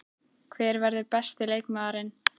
Hver verður besti leikmaðurinn?